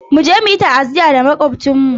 Ku je ku yi ta'aziyya ga Makwabcinmu!